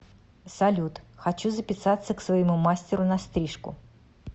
салют хочу записаться к своему мастеру на стрижку